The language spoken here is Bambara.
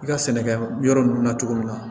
I ka sɛnɛkɛ yɔrɔ nunnu na cogo min na